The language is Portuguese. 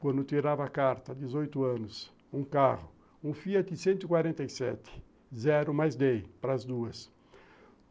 Quando tirava a carta, dezoito anos, um carro, um Fiat cento e quarenta e sete, zero, mas dei para as duas.